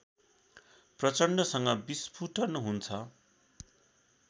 प्रचण्डसँग विस्फुटन हुन्छ